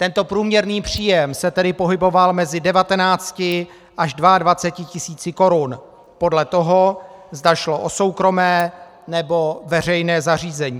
Tento průměrný příjem se tedy pohyboval mezi 19 až 22 tisíci korun podle toho, zda šlo o soukromé, nebo veřejné zařízení.